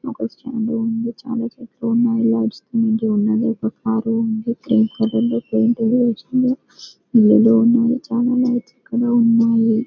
ఒక స్టాండ్ ఉంది. చాలా చెట్లు ఉన్నాయి. ఉన్నవి. ఇటు పక్క కార్ ఉన్నదీ. గ్రీన్ కలర్ లో పెయింట్ కూడా ఏసీ ఉన్నదీ. ఇల్లులు ఉన్నాయి. చాలా లైట్స్ కూడా ఉన్నాయి. .